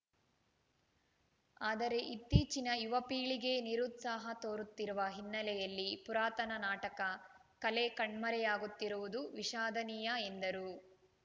ಆದರೆ ಇತ್ತೀಚಿನ ಯುವಪೀಳಿಗೆ ನಿರುತ್ಸಾಹ ತೋರುತ್ತಿರುವ ಹಿನ್ನೆಲೆಯಲ್ಲಿ ಪುರಾತನ ನಾಟಕ ಕಲೆ ಕಣ್ಮರೆಯಾಗುತ್ತಿರುವುದು ವಿಷಾದನೀಯ ಎಂದರು